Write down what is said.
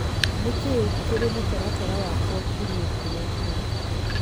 nĩ kĩĩ kĩrĩa kĩrĩ mũtaratara wakwa kiumia kĩrĩa kĩroka.